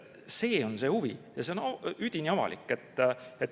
See on see huvi ja see on üdini avalik.